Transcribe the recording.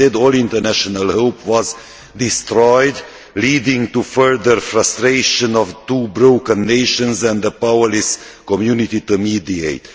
Instead, all international hope was destroyed, leading to the further frustration of two broken nations and a powerless community to mediate.